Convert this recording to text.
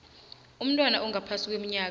umntwana ongaphasi kweminyaka